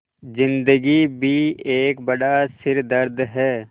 ज़िन्दगी भी एक बड़ा सिरदर्द है